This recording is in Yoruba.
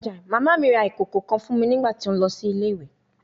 Mama mi ra ikoko kan fun mi nigbati o nlọ si ile-iwe